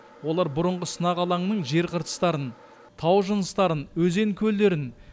олар бұрынғы сынақ алаңының жер қыртыстарын тау жыныстарын өзен көлдерін